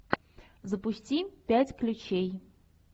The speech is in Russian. запусти пять ключей